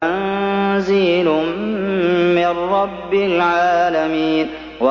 تَنزِيلٌ مِّن رَّبِّ الْعَالَمِينَ